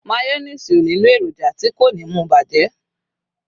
mayonnaise o nilo eroja ti ko ni mu bajẹ